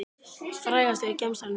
Frægastur í gemsanum þínum?